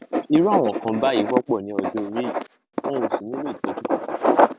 irú àwọn nǹkan báyìí wọpọ ní ọjọ orí yìí wọn ò sì nílò ìtọjú kankan